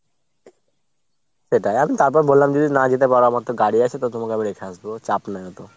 সেটাই। আমি তারপর বললাম যদি না যেতে পারো আমার তো গাড়ি আছে তো তোমাকে আমি রেখে আসবো। ও চাপ নাই অতো।